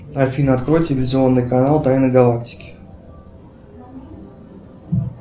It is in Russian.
афина открой телевизионный канал тайны галактики